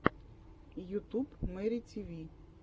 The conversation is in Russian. ютуб мэри тиви